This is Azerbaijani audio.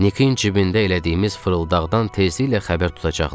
Nikin cibində elədiyimiz fırıldaqdan tezliklə xəbər tutacaqlar.